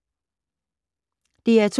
DR2